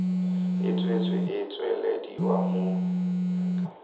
e tswetswe e tswelediwa mo